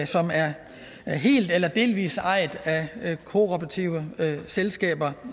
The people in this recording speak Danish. som er helt eller delvis ejet af kooperative selskaber